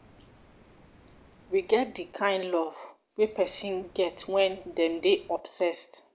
we get di kind kove wey person get when dem dey obsessed